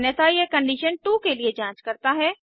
अन्यथा यह कंडीशन2 के लिए जांच करता है